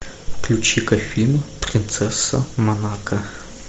включи ка фильм принцесса монако